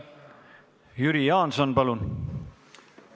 Jüri Jaanson, palun!